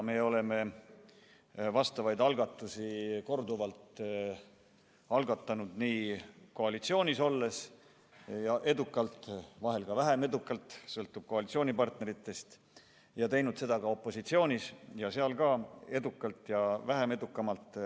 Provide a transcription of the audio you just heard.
Me oleme selliseid eelnõusid korduvalt algatanud nii koalitsioonis olles – edukalt, vahel ka vähem edukalt, sõltub koalitsioonipartneritest – ja teinud seda ka opositsioonis – seal ka edukalt ja vähem edukalt.